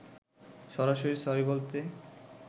সরাসরি সরি বলতে